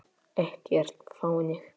Ekkert þannig.